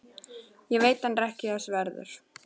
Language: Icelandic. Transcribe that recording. Ég veit hann er ekki þess verður.